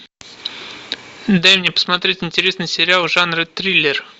дай мне посмотреть интересный сериал жанра триллер